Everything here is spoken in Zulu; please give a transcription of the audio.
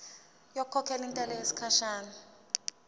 ngokukhokhela intela yesikhashana